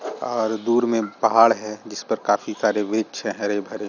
और दूर में पहाड़ है जिस पर काफी सारे वृक्ष है हरे-भरे--